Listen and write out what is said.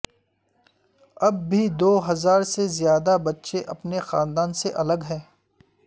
اب بھی دو ہزار سے زیادہ بچے اپنے خاندان سے الگ ہیں